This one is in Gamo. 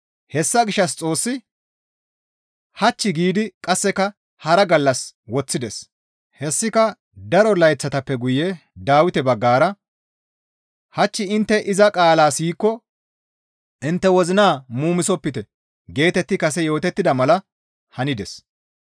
Hessa gishshas Xoossi, «Hach» giidi qasseka hara gallas woththides; hessika daro layththatappe guye Dawite baggara, «Hach intte iza qaalaa siyikko intte wozinaa muumisopite» geetetti kase yootettida mala hanides.